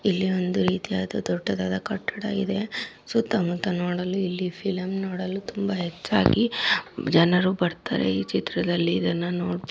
ಇಲ್ಲಿ ಒಂದು ರೀತಿಯಾದ ದೊಡ್ಡದಾದ ಕಟ್ಟಡ ಇದೆ ಸುತ್ತಾಮುತ್ತಾ ನೋಡಲು ಇಲ್ಲಿ ಫೀಲಿಂ ನೋಡಲು ತುಂಬಾ ಹೆಚ್ಚಾಗಿ ಜನರು ಬರ್ತಾರೆ ಈ ಚಿತ್ರದಲ್ಲಿ ಇದನ್ನು ನೋಡಬಹುದು